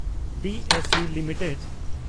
B S E limited